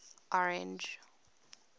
orange